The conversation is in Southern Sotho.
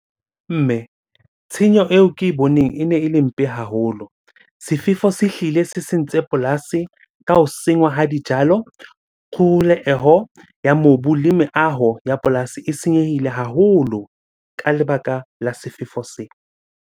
Mme, tshenyo eo ke e boneng ene ele mpe haholo. Sefefo se hlile se sentse polasi ka ho sengwa ha dijalo ho ya mobu. Le meaho ya polasi e senyehile haholo ka lebaka la sefefo se.